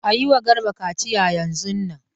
A yi ma Garba kaciya yanzun nan!